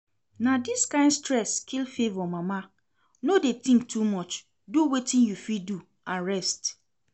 Na dis kyn stress kill Favour mama, no dey think too much, do wetin you fit do and rest